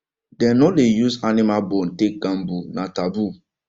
dem no dey use animal bone take gamble na taboo